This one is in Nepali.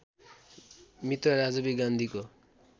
मित्र राजीव गान्धीको